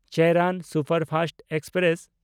Cheran superfast express